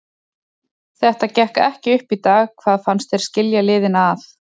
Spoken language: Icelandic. Þetta gekk ekki upp í dag, hvað fannst þér skilja liðin að?